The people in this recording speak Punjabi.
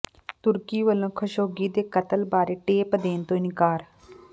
ਤੁਰਕੀ ਵੱਲੋਂ ਖਸ਼ੋਗੀ ਦੇ ਕਤਲ ਬਾਰੇ ਟੇਪ ਦੇਣ ਤੋਂ ਇਨਕਾਰ